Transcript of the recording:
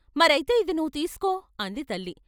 "మరయితే ఇది నువ్వు తీసుకో " అంది తల్లి.